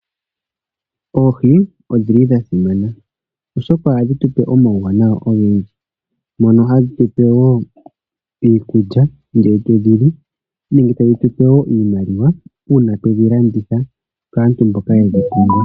Oohi odhili dhasimana oshoka ohadhi tupe omawuwanawa ogendji. Mono hadhi tupe wo iikulya ngele twedhili nenge tadhi tupe wo iimaliwa una twedhi landitha kaantumboka yedhi pumbwa.